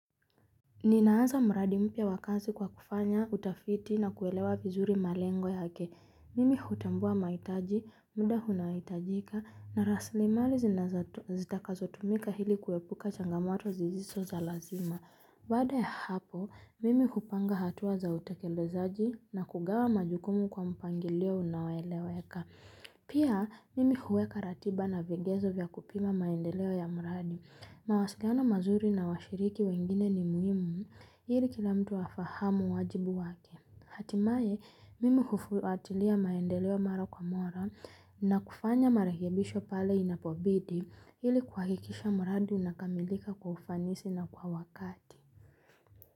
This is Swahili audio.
Ninaanza mradi mpya wa kazi kwa kufanya utafiti na kuelewa vizuri malengo yake. Mimi hutambua mahitaji, muda unaohitajika, na raslimali zitakazotumika ili kuepuka changamoto sisiso za lazima. Baada ya hapo, mimi kupanga hatua za utekelezaji na kugawa majukumu kwa mpangilio unaoeleweka. Pia, mimi huweka ratiba na vigezo vya kupima maendeleo ya muradi. Mawasikiana mazuri na washiriki wengine ni muhimu, ili kila mtu afahamu wajibu wake. Hatimaye mimi hufuatilia maendeleo mara kwa mara na kufanya marekebisho pale inapobidi ili kuhakikisha mradi unakamilika kwa ufanisi na kwa wakati.